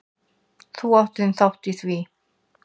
Þú átt þinn þátt í því.